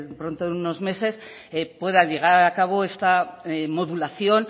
pronto en unos meses pueda llevar a cabo esta modulación